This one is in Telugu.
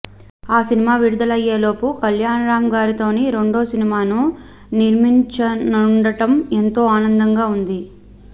ఆ సినిమా విడుదలయ్యే లోపు కల్యాణ్రామ్గారితోనే రెండో సినిమాను నిర్మించనుండటం ఎంతో ఆనందంగా ఉంది